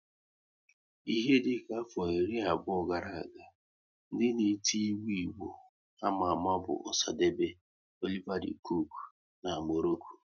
Ihe dịka afọ iri abụọ gara aga, ndị na-eti egwu Igbo ama ama bụ Osadebe, Oliver De coque na Morocco